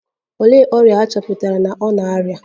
Olee ọrịa a chọpụtara na ọ na -arịa?